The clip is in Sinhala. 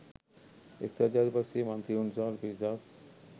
එක්සත් ජාතික පක්ෂයේ මන්ත්‍රීවරුන් විශාල පිරිසක්